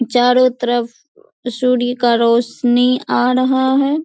चारो तरफ सूर्य का रौशनी आ रहा है।